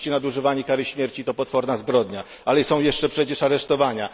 Oczywiście nadużywanie kary śmierci to potworna zbrodnia, ale są jeszcze przecież aresztowania.